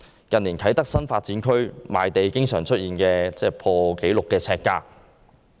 近年，啟德新發展區賣地經常出現破紀錄呎價。